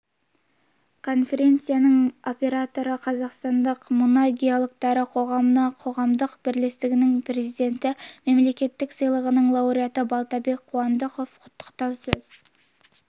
конференцияның модераторы қазақстандық мұнай геологтары қоғамы қоғамдық бірлестігінің президенті мемлекеттік сыйлығының лауреаты балтабек қуандықов құттықтау сөз